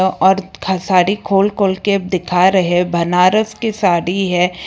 और खसारी खोल खोल के दिखा रहे हैं बनारस की साड़ी है।